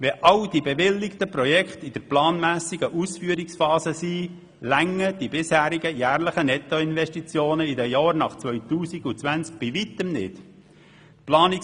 Falls sich alle bewilligten Projekte tatsächlich in der planmässigen Ausführungsphase befinden werden, werden die bisherigen jährlichen Summen für die Nettoinvestitionen in den Jahren nach 2020 bei weitem nicht ausreichen.